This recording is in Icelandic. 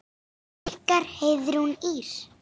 Ykkar Heiðrún Ýrr.